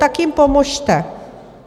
Tak jim pomozte!